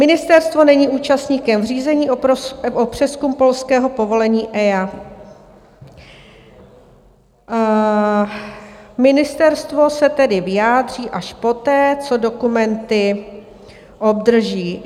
Ministerstvo není účastníkem řízení o přezkum polského povolení EIA, ministerstvo se tedy vyjádří až poté, co dokumenty obdrží.